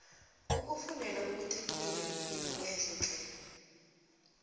ukufundela ubutekniri kuyinto ehle tle